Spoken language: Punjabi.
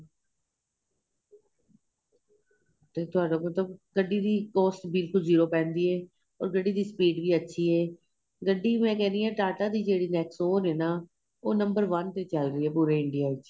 ਤੇ ਤੁਹਾਡੇ ਕੋਲ ਤੇ ਗੱਡੀ ਵੀ cost ਬਿਲਕੁਲ zero ਪੈਂਦੀ ਏ ਔਰ ਗੱਡੀ ਦੀ speed ਵੀ ਅੱਛੀ ਏ ਗੱਡੀ ਮੈਂ ਕਹਿ ਰਹੀ ਹਾਂ ਟਾਟਾ ਦੀ ਜਿਹੜੀ N exon ਉਹ ਲੈਣਾ ਉਹ number one ਤੇ ਚੱਲ ਰਹੀ ਏ ਪੂਰੇ India ਵਿੱਚ